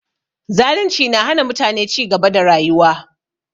Zalunci na hana mutane cigaba da rayuwa